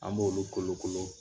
An b'olu kolokolo